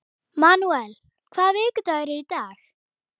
Manúel, hvaða vikudagur er í dag?